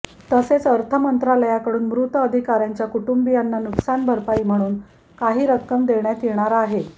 तसेच अर्थ मंत्रालयाकडून मृत अधिकाऱ्यांच्या कुटुंबियांना नुकसान भरपाई म्हणून काही रक्कम देण्यात येणार आहे